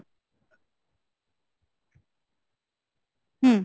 হম